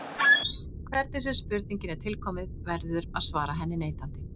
Hvernig sem spurningin er tilkomin verður að svara henni neitandi.